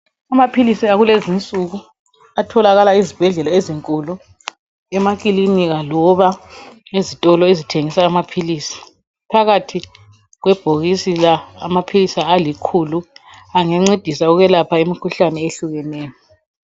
Amaphilisi akulezinsuku atholakala ezibhedlela ezinkulu, emakilinika loba ezitolo ezithengisa amaphilisi. Phakathi kwebhokisi la amaphilisi alikhulu angancedisa ukwelapha imkhuhlane ehlukeneyo.